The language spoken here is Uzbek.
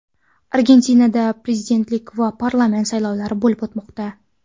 Argentinada prezidentlik va parlament saylovlari bo‘lib o‘tmoqda .